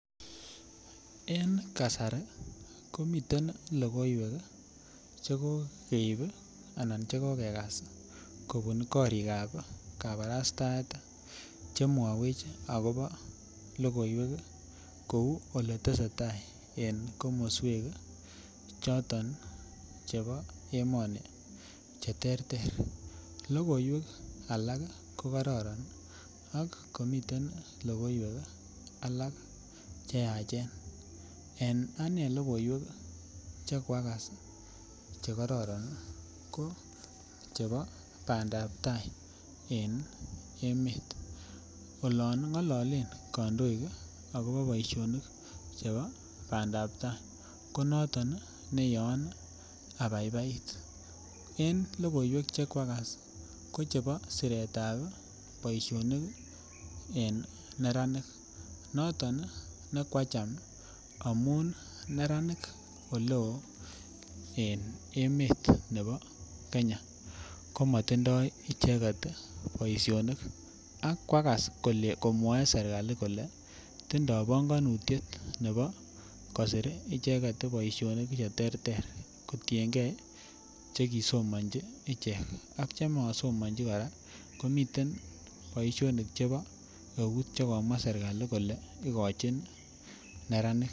En kasari komiten logoiwek Che kokeib anan Che kokegas kobun korikab kabarastaet Che mwawech agobo logoiwek kou Ole tesetai en komoswek choton chebo emoni Che terter logo alak ii ko kororon ak komiten logoiwek alak Che yachen en ane en logoiwek Che koagas Che kororon ko chebo bandap tai en emet olon ngololen kandoik agobo boisionik chebo bandap tai ko noton ne Yoon abaibait en logoiwek Che kogoagas ko chebo siretab boisionik en neranik noton nekoacham amun neranik oleo en emet nebo Kenya ko matindoi icheget boisionik ak koagas komwoe serkali kole tindoi panganutiet nebo kosir icheget boisionik Che terter kotienge Che ki somonji ichek ak chemosomonji kora komiten boisionik Chebo eut Che komwa serkali kole igochin neranik